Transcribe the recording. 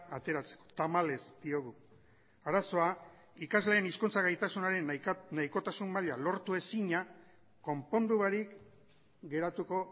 ateratzeko tamalez diogu arazoa ikasleen hizkuntza gaitasunaren nahikotasun maila lortu ezina konpondu barik geratuko